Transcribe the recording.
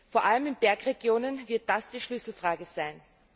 Vor allem in Bergregionen wird das die Schlüsselfrage sein.